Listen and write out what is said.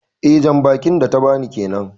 Eh jan bakin da ta ba ni kenan.